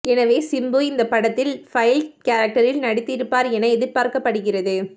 எனவே சிம்பு இந்த படத்தில் பைல்ட் கேரக்டரில் நடித்திருப்பார் என எதிர்பார்க்கப்படுகிறது